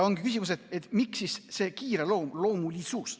Ongi küsimus, miks siis see kiireloomulisus.